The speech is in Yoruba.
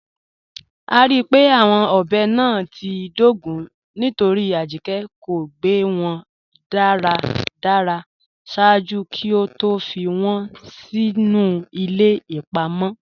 A ríí pé awọn ọbẹ́ náà ti dógún nítorí Ajíkẹ̀ kò gbẹ́ wọn daradara ṣaaju kí ó tó fí wọn sínu ilẹ̀ ipa mọ.